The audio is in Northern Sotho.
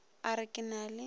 a re ke na le